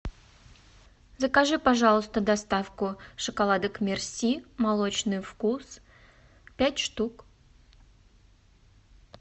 закажи пожалуйста доставку шоколадок мерси молочный вкус пять штук